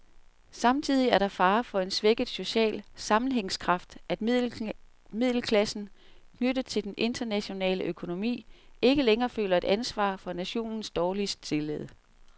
Samtidig er der fare for en svækket social sammenhængskraft, at middelklassen, knyttet til den internationale økonomi, ikke længere føler et ansvar for nationens dårligt stillede.